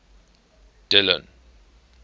dillon